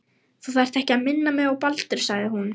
Þú þarft ekki að minna mig á Baldur sagði hún.